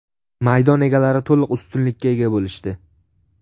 Maydon egalari to‘liq ustunlikka ega bo‘lishdi.